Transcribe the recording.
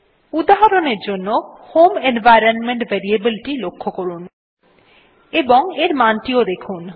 উদাহরণের জন্য home environment variable টি লক্ষ্য করুন এবং এর মান টি দেখুন